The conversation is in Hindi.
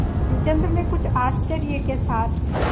रामचंद्र ने कुछ आश्चर्य के साथ